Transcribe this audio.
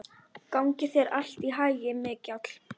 Gangi þér allt í haginn, Mikjáll.